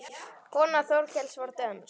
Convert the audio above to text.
Kona Þorkels var dönsk.